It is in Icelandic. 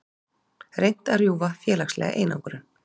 Reynt að rjúfa félagslega einangrun